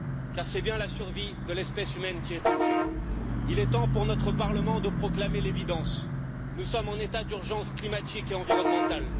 Car c'est bien la survie de l'espèce humaine qui est en jeu. Il est temps pour notre Parlement de proclamer l'évidence nous sommes en état d'urgence climatique et environnementale.